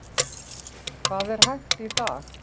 Hvað er hægt í dag?